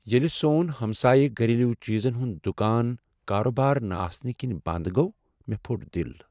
ییٚلہِ سون ہمسایہ گھریلو چیزن ہُند دُکان کاربار نَہ آسنہٕ کِنۍ بنٛد گوٚو مےٚ پُھٹ دل۔